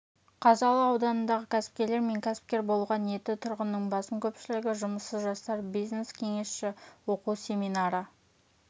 қазалы ауданындағы кәсіпкерлер мен кәсіпкер болуға ниетті тұрғынның басым көпшілігі жұмыссыз жастар бизнес кеңесші оқу семинары